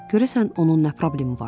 Görəsən onun nə problemi var?